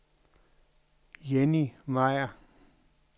Jenny Meier